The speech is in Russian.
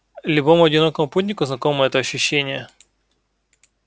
любому одинокому путнику знакомо это ощущение